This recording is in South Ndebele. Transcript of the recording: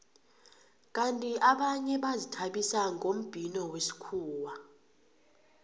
kandi abanye bazithabisa ngombhino wesikhuwa